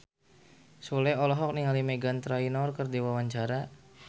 Sule olohok ningali Meghan Trainor keur diwawancara